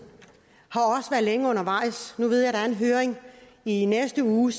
har længe undervejs nu ved jeg at der er en høring i næste uge